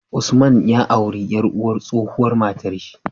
Usman ya auri yar uwar tsohuwar matar shi